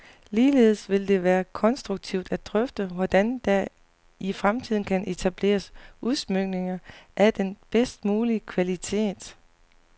Ligeledes vil det være konstruktivt at drøfte, hvordan der i fremtiden kan etableres udsmykninger af den bedst mulige kvalitet.